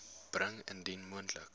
bring indien moontlik